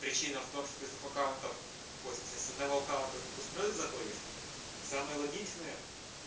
причина в том что ты с двух аккаунтов ой в смысле с аккаунта с двух устройств заходишь самое логичное